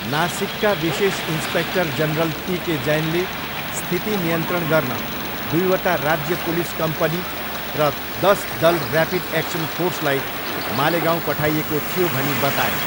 नासिकका विशेष inspector general P K जैनले, स्थिति नियन्त्रण गर्न दुईवटा राज्य पुलिस कम्पनी र दस दल ऱ्यापिड एक्सन फोर्सलाई मालेगाउँ पठाइएको थियो भनी बताए।